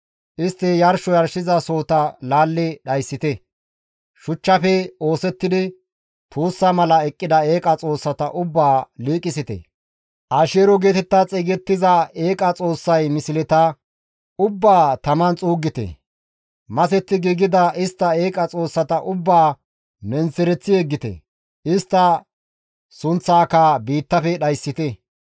Istti yarsho yarshizasohota laalli dhayssite; shuchchafe oosettidi tuussa mala eqqida eeqa xoossata ubbaa liiqisite; Asheero geetetta xeygettiza eeqa xoossay misleta ubbaa taman xuuggite; masetti giigida istta eeqa xoossata ubbaa menththereththi yeggite; istta sunththaaka biittafe dhayssite.